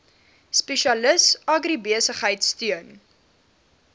spesialis agribesigheid steun